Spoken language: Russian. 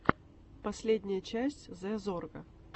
последняя часть зэ зорга